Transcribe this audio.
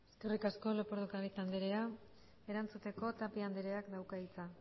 eskerrik asko lópez de ocáriz andrea erantzuteko tapia andreak dauka hitza